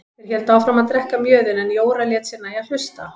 Þeir héldu áfram að drekka mjöðinn en Jóra lét sér nægja að hlusta.